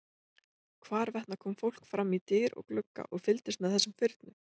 Hvarvetna kom fólk fram í dyr og glugga og fylgdist með þessum firnum.